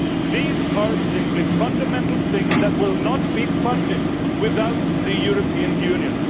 These are fundamental things which will not be funded without the European Union.